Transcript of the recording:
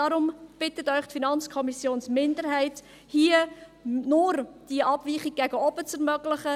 Deshalb bittet Sie die FiKo-Minderheit hier, nur die Abweichung nach oben zu ermöglichen.